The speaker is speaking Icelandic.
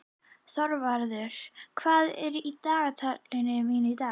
Þorvarður, hvað er í dagatalinu mínu í dag?